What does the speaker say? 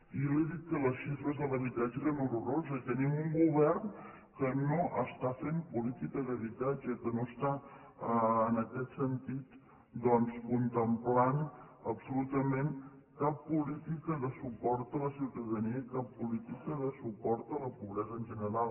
i li he dit que les xifres de l’habitatge eren horroroses i tenim un govern que no està fent política d’habitatge que no està en aquest sentit doncs contemplant absolutament cap política de suport a la ciutadania i cap política de suport a la pobresa en general